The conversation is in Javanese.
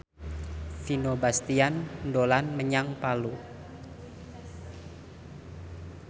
Vino Bastian dolan menyang Palu